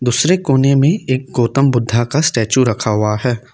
दूसरे कोने में एक गौतम बुद्धा का स्टेच्यू रखा हुआ है।